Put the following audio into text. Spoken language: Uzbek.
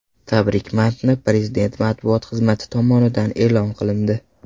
Tabrik matni Prezident matbuot xizmati tomonidan e’lon qilindi .